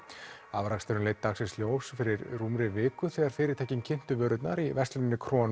afraksturinn leit dagsins ljós fyrir rúmri viku þegar fyrirtækin kynntu vörurnar í versluninni